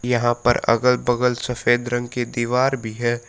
यहां पर अगल बगल सफेद रंग की दीवार भी है।